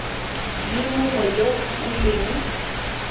le mongwe yo o leng